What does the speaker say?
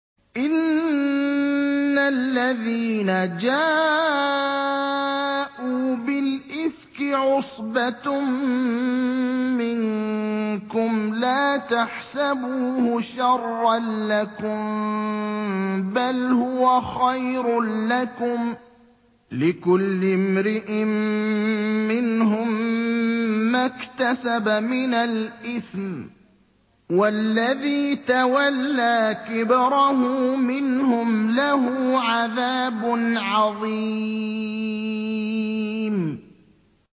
إِنَّ الَّذِينَ جَاءُوا بِالْإِفْكِ عُصْبَةٌ مِّنكُمْ ۚ لَا تَحْسَبُوهُ شَرًّا لَّكُم ۖ بَلْ هُوَ خَيْرٌ لَّكُمْ ۚ لِكُلِّ امْرِئٍ مِّنْهُم مَّا اكْتَسَبَ مِنَ الْإِثْمِ ۚ وَالَّذِي تَوَلَّىٰ كِبْرَهُ مِنْهُمْ لَهُ عَذَابٌ عَظِيمٌ